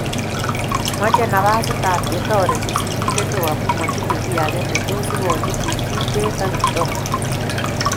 Mochei nafasta ab chetoriti sirindet neo amu matinye kiy ake ne tos ikochi Chirchir Bett ak Kiptoo